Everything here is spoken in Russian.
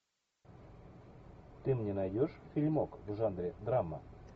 ты мне найдешь фильмок в жанре драма